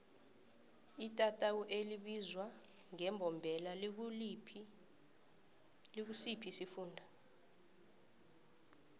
itatawu elibizwa ngembombela likusiphi isifunda